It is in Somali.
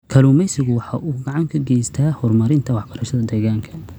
Kalluumaysigu waxa uu gacan ka geystaa horumarinta waxbarashada deegaanka.